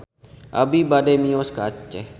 Abi bade mios ka Aceh